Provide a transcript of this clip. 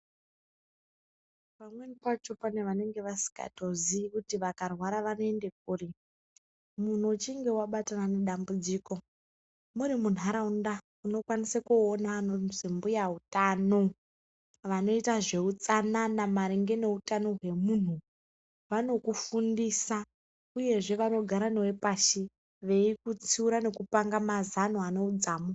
Pamweni pacho pane vanenge vasingatozii kuti vakarwara vanoenda kuri, munhu ichinge wabatana nedambudziko muri munharaunda unokwanise koona anozi mbuya utano. Vanoita nezveutsanana maringe neutano hwemunhu, vanokufundisa uyezve vanogara newe pashi veikutsiura nekupanga mazano ane udzamu.